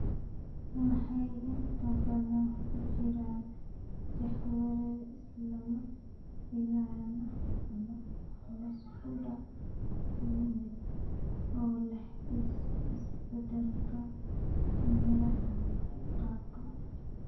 Waxay inta badan ku jiraan jahawareer si lama filaan ah ama hoos u dhac ku yimid oo leh isbeddelka miyir-qabka.